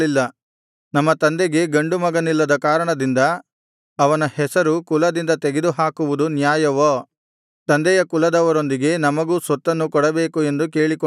ನಮ್ಮ ತಂದೆಗೆ ಗಂಡು ಮಗನಿಲ್ಲದ ಕಾರಣದಿಂದ ಅವನ ಹೆಸರು ಕುಲದಿಂದ ತೆಗೆದು ಹಾಕುವುದು ನ್ಯಾಯವೋ ತಂದೆಯ ಕುಲದವರೊಂದಿಗೆ ನಮಗೂ ಸ್ವತ್ತನ್ನು ಕೊಡಬೇಕು ಎಂದು ಕೇಳಿಕೊಂಡರು